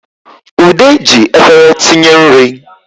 Ude ji efere tinye nri